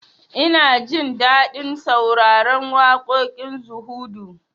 Ina jin daɗin sauraron waƙoƙin zuhudu